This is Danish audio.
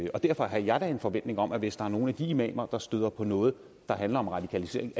og derfor har jeg da en forventning om at hvis der er nogen af de imamer der støder på noget der handler om radikalisering